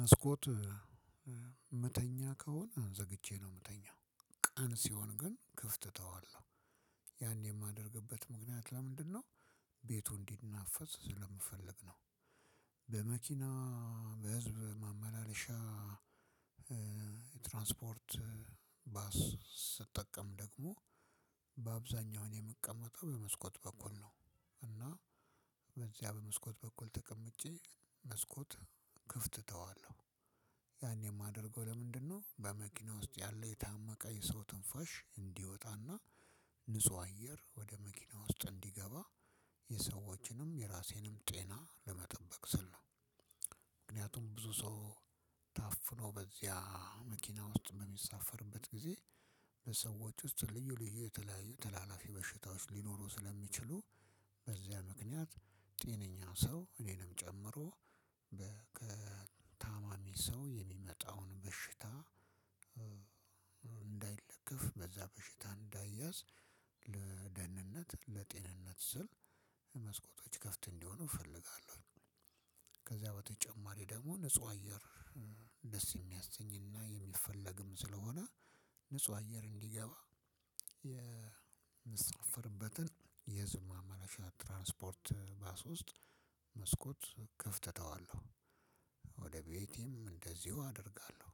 መስኮት መተኛ ከሆነ ዘግቼ ነው የምተኛው። ቀን ሲሆን ግን ክፍት ተዋለሁ ያን የማደርግበት ምክንያት ለምንድነው? ቤቱ እንዲናፈስ ስለምፈልግ ነው። በመኪና በህዝብ ማመላለሻ ትራንስፖርት ባስ ስጠቀም ደግሞ በአብዛኛው እኔ የምቀመጠው በመስኮት በኩል ነው። እና በዚያ በመስኮት በኩል ተቀምጬ መስኮት ክፍት ተዋለሁ ያን የማደርገው ለምንድነው? በመኪና ውስጥ ያለው የታመቀ የሰው ትንፋሽ እንዲወጣና ንጹህ አየር ወደ መኪና ውስጥ እንዲገባ የሰዎችንም የራሴንም ጤና ለመጠበቅ ስል ነው። ምክንያቱም ብዙ ሰው ታፍኖ በዚያ መኪና ውስጥ በሚሳፈርበት ጊዜ በሰዎች ውስጥ ልዩ ልዩ የተለያዩ ተላላፊ በሽታዎች ሊኖሩ ስለሚችሉ። በዚያ ምክንያት ጤነኛ ሰው እኔንም ጨምሮ ከታማሚ ሰው የሚመጣውን በሽታ እንዳይለከፍ በዛ በሽታ እንዳይያዝ ለደህንነት ለጤንነት ስል መስኮቶች ከፍት እንዲሆኑ እፈልጋለሁ። ከዛ በተጨማሪ ደግሞ ንጹህ አየር ደስ የሚያሰኝና የሚፈለግም ስለሆነ። ንጹህ አየር እንዲገባ የምሳፈርበትን የህዝብ ማመላለሻ ትራንስፖርት ባስ ውስጥ መስኮት ክፍት ተዋለሁ ወደ ቤቴም እንደዚሁ አደርጋለሁ።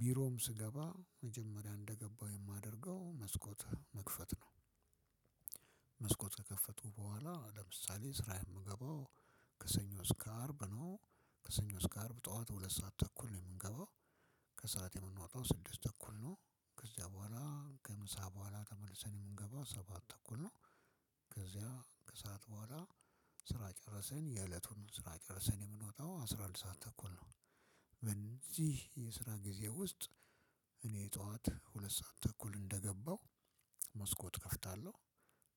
ቢሮም ስገባ መጀመሪያ እንደገባሁ የማደርገው መስኮት መክፈት ነው። መስኮት ከከፈትኩ በኃላ ለምሳሌ ስራ የምገባው ከሰኞ እስከ አርብ ነው። ከሰኞ እስከ አርብ ጠዋት ሁለት ሰዓት ተኩል ነው የምገባው። ከሰአት የምንወጣው ስድስት ተኩል ነው። ከዚያ በኋላ ከምሳ በኋላ ተመልሰን የምንገባው ሰባት ተኩል ነው። ከሰአት በኋላ ስራ ጨረሰን የእለቱን ስራ ጨረሰን የምንወጣው አስራ አንድ ሰዓት ተኩል ነው። በዚህ የስራ ጊዜ ውስጥ እኔ ጠዋት ሁለት ሰዓት ተኩል እንደገባው መስኮት እከፍታለሁ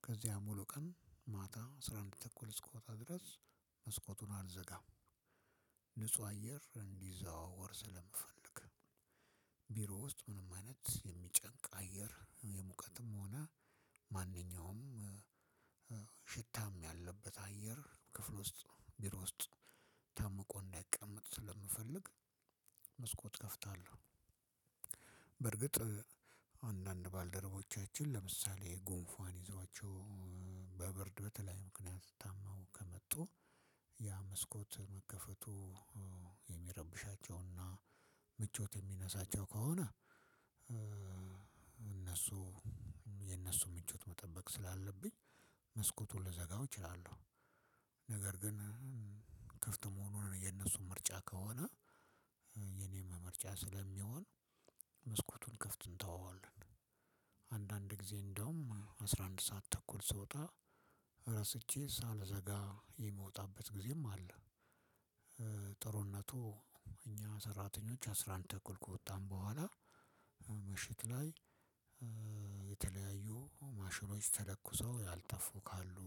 ከዚያም ሙሉ ቀን ማታ አስራ አንድ ተኩል እስክወጣ ድረስ መስኮቱን አልዘጋም። ንጹህ አየር እንዲዘዋወር ስለምፈልግ ቢሮ ውስጥ ምንም አይነት የሚጨንቅ አየር የሙቀትም ሆነ ማንኛውም ያለበት አየር ክፍል ውስጥ ቢሮ ውስጥ ታምቆ እንዳይቀመጥ ስለምፈልግ መስኮት እከፍታለሁ። በርግጥ አንዳንድ ባልደረቦቻችን ለምሳሌ ጉንፋን ይዟቸው በብርድ በተለያዩ ምክንያት ታመው ከመጡ ያ መስኮት መከፈቱ የሚረብሻቸውና ምቾት የሚነሳቸው ከሆነ። እነሱ የእነሱ ምቹት መጠበቅ ስላለብኝ መስኮቱን ልዘጋው እችላለሁ። ነገር ግን ክፍት መሆኑ የእነሱ ምርጫ ከሆነ። የእኔም ምርጫ ስለሚሆን መስኮቱን ክፍት እንተወዋለን። አንዳንድ ጊዜ እንደውም አስራ አንድ ሰዓት ተኩል ስወጣ ረስቼ ሳልዘጋ የምወጣበት ጊዜም አለ። ጥሩነቱ እኛ ሰራተኞች አስራ አንድ ተኩል ከወጣን በኋላ ምሽት ላይ የተለያዩ ማሽኖች ተለኩሰው ያልጠፉ ካሉ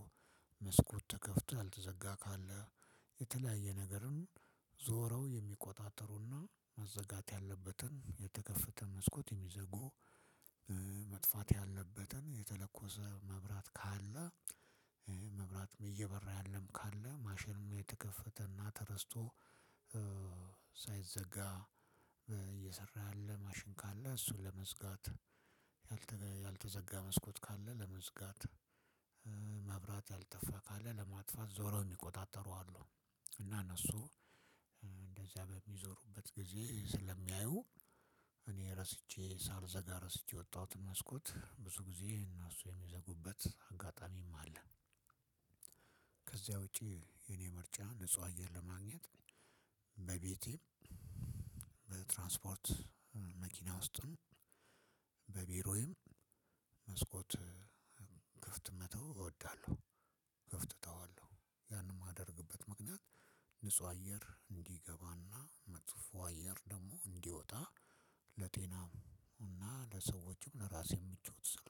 መስኮት ተከፍቶ ያልተዘጋ ካለ የተለያየ ነገርም ዞረው የሚቆጣጠሩና መዘጋት ያለበትን የተከፈተ መስኮት የሚዘጉ። መጥፋት ያለበትን የተለኮሰ መብራት ካለ መብራትም እየበራ ያለም ካለ ማሽንም የተከፈተ እና ተረስቶ ሳይዘጋ እየሰራ ያለ ማሽን ካለ እሱን በመዝጋት ያልተ ያልተዘጋ መስኮት ካለ ለመዝጋት መብራት ያልጠፋ ካለ ለማጥፋት ዞረው የሚቆጣጠሩ አሉ። እና እነሱ እንደዚያ በሚዞሩበት ጊዜ ስለሚያዩ እኔ ረስቼ ሳልዘጋ ረስቼ የወጣሁትን መስኮት ብዙ ጊዜ እነሱ የሚዘጉበት አጋጣሚም አለ። ከዚያ ውጪ የእኔ ምርጫ ንጹህ አየር ለማግኘት በቤቴም በትራንስፖርት መኪና ውስጥም በቢሮዬም መስኮት ክፍት መተው እወዳለሁ። ክፍት ተዋለሁ ያንን የማደርግበት ምክንያት ንጹህ አየር እንዲገባና መጥፎ አየር ደግሞ እንዲወጣ ለጤናም እና ለሰዎችም ለራሴም ምቾት።